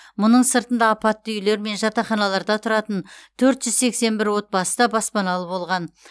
мұның сыртында апатты үйлер мен жатақханаларда тұратын төрт жүз сексен бір отбасы да баспаналы болған